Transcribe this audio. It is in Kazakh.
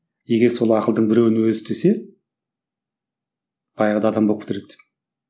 егер сол ақылдың біреуін өзі істесе баяғыда адам болып кетер еді